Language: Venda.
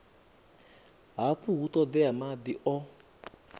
hafha hu ṱoḓea maḓi o